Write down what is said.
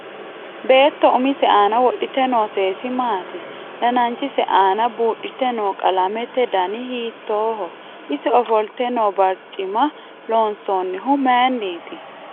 Beetto umise aana wodhite noo seesi maati dananichise aana buudhite noo qalamete dani hiitooho ise ofolte noo barcima loonsoonihu mayiiniiti